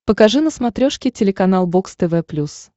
покажи на смотрешке телеканал бокс тв плюс